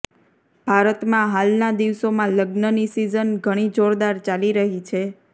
ભારતમાં હાલના દિવસોમાં લગ્નની સીઝન ઘણી જોરદાર ચાલી રહી છે